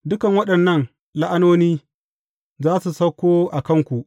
Dukan waɗannan la’anoni za su sauko a kanku.